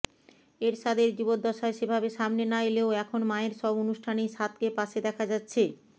এরশাদের জীবদ্দশায় সেভাবে সামনে না এলেও এখন মায়ের সব অনুষ্ঠানেই সাদকে পাশে দেখা যাচ্ছে